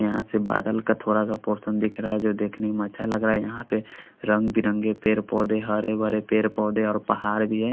यहाँ से बादल का थोडा सा पोर्सन दिख रहा है जो देखने में अच्छा लग रहा है यहाँ पे रंग बिरंगे पेड़ पोधे हरे भरे पेड़ पोधे और पहाड़ भी ह--